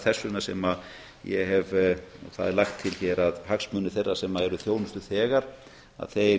hagsmunir allra séu tryggðir þess vegna er lagt til hér að hagsmunir þeirra sem eru þjónustuþegar að